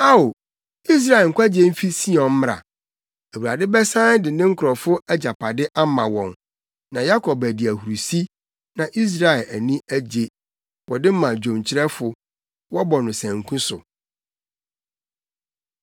Ao, Israel nkwagye mfi Sion mmra! Awurade bɛsan de ne nkurɔfo agyapade ama wɔn. Na Yakob adi ahurusi, na Israel ani agye! Wɔde ma dwonkyerɛfo. Wɔbɔ no sanku so.